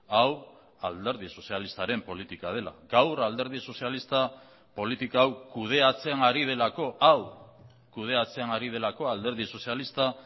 hau alderdi sozialistaren politika dela gaur alderdi sozialista politika hau kudeatzen ari delako hau kudeatzen ari delako alderdi sozialista